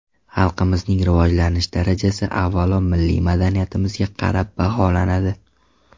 Xalqimizning rivojlanish darajasi avvalo milliy madaniyatimizga qarab baholanadi.